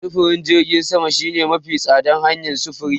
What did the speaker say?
Sufurin jirgin sama shine mafi tsadar hanyar sufuri.